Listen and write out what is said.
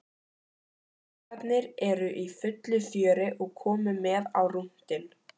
Krakkarnir eru í fullu fjöri og komu með á rúntinn.